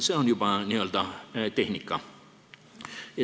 See on juba n-ö tehnika.